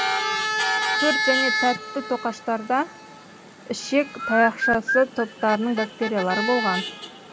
торт және тәтті тоқаштарда ішек таяқшасы топтарының бактериялары болған